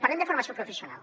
parlem de formació professional